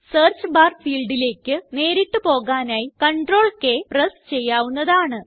search barഫീൽഡിലേയ്ക്ക് നേരിട്ട് പോകാനായി CTRLK പ്രസ് ചെയ്യാവുന്നതാണ്